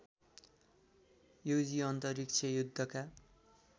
युजि अन्तरिक्ष युद्धका